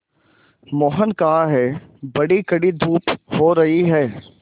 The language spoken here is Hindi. मोहन कहाँ हैं बड़ी कड़ी धूप हो रही है